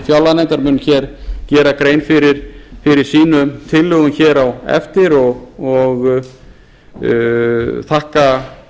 fjárlaganefndar mun hér gera grein fyrir sínum tillögum hér á eftir og ég þakka